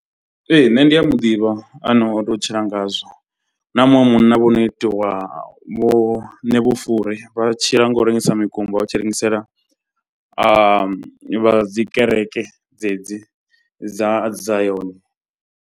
Ee nṋe ndi a muḓivha ane o tou tshila ngazwo. Na muṅwe munna vho no itiwa vho Ṋevhufure. Vha tshila nga u rengisa mikumba vha tshi rengisela a vha dzi kereke dzedzi dza zion.